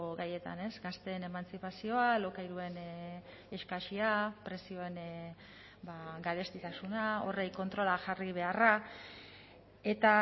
gaietan ez gazteen emantzipazioa alokairuen eskasia prezioen garestitasuna horri kontrola jarri beharra eta